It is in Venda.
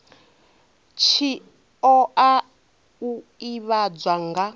tshi oa u ivhadzwa nga